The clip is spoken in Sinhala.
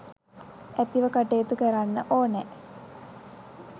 ඇතිව කටයුතු කරන්න ඕනෑ.